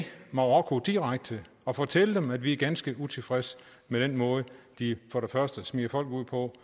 marokko direkte og fortælle dem at vi er ganske utilfredse med den måde de for det første smider folk ud på